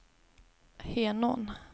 Henån